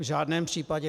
V žádném případě.